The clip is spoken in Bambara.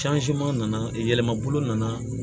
nana yɛlɛma bolo nana